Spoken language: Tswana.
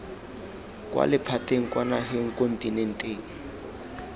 kwa lephateng kwa nageng kontinenteng